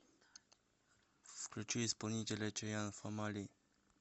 включи исполнителя чаян фамали